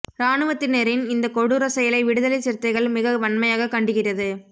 ராணுவத்தினரின் இந்த கொடூரச் செயலை விடுதலை சிறுத்தைகள் மிக வன்மையாக கண்டிக்கிறது